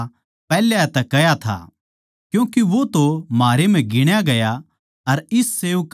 क्यूँके वो तो म्हारै म्ह गिण्या गया अर इस सेविकाई म्ह साझ्झी होया